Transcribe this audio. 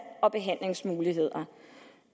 og behandlingsmuligheder